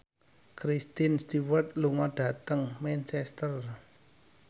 Kristen Stewart lunga dhateng Manchester